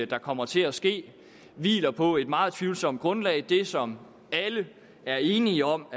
der kommer til at ske hviler på et meget tvivlsomt grundlag det som alle er enige om